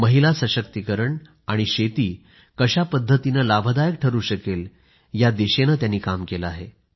महिला सशक्तीकरण आणि शेती कशा पद्धतीने लाभदायक ठरू शकेल या दिशेने त्यांनी काम केले आहे